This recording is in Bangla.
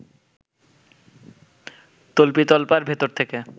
তল্পিতল্পার ভেতর থেকে